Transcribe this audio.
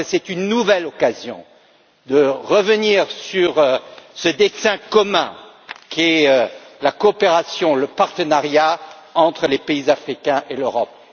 Je crois que ce sera une nouvelle occasion de revenir sur ce dessein commun qu'est la coopération, le partenariat entre les pays africains et l'Europe.